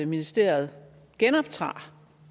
ministeriet genoptager